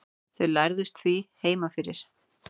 þau lærðust því heima fyrir